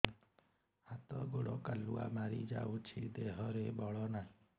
ହାତ ଗୋଡ଼ କାଲୁଆ ମାରି ଯାଉଛି ଦେହରେ ବଳ ନାହିଁ